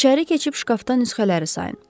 İçəri keçib şkafdan nüsxələri sayın.